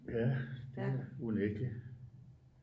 Ja det er unægteligt